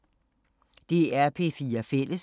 DR P4 Fælles